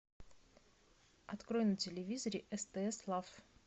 открой на телевизоре стс лав